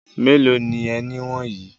Mélòó ni ẹni wọ̀nyí?